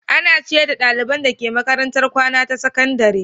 Ana ciyar da ɗaliban dake makarantar kwana ta sakandare.